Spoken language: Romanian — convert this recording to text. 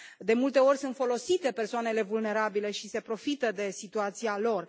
De multe ori sunt folosite persoanele vulnerabile și se profită de situația lor.